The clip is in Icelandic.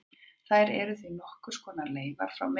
Þær eru því nokkurs konar leifar frá myndun þess.